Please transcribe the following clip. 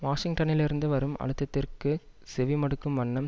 வாஷிங்டனிலிருந்து வரும் அழுத்தத்திற்கு செவிமடுக்கும் வண்ணம்